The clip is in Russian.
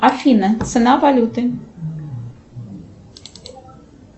афина цена валюты